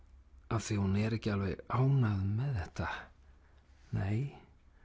af því hún er ekki alveg ánægð með þetta nei